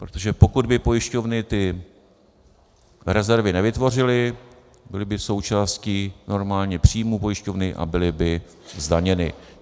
Protože pokud by pojišťovny ty rezervy nevytvořily, byly by součástí normálně příjmu pojišťovny a byly by zdaněny.